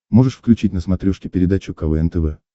можешь включить на смотрешке передачу квн тв